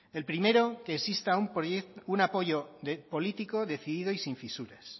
el primero que exista un apoyo político decidido y sin fisuras